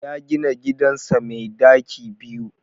Ya gina gidansa mai ɗaki biyu.